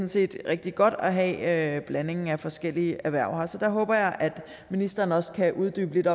set rigtig godt at have blandingen af forskellige erhverv her så der håber jeg at ministeren også kan uddybe lidt